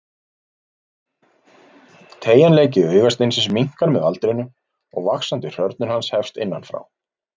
Teygjanleiki augasteinsins minnkar með aldrinum og vaxandi hrörnun hans hefst innan frá.